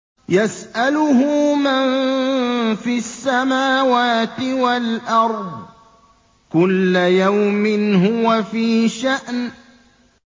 يَسْأَلُهُ مَن فِي السَّمَاوَاتِ وَالْأَرْضِ ۚ كُلَّ يَوْمٍ هُوَ فِي شَأْنٍ